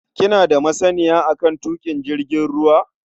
Kina da masaniya a kan tuƙin jirgin ruwa?